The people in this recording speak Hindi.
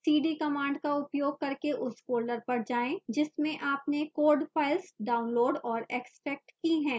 cd command का उपयोग करके उस folder पर जाएं जिसमें आपने code files downloaded और extracted की है